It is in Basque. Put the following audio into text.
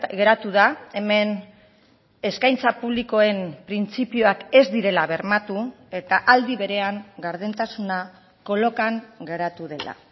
geratu da hemen eskaintza publikoen printzipioak ez direla bermatu eta aldi berean gardentasuna kolokan geratu dela